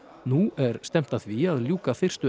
nú er stefnt að því að ljúka fyrstu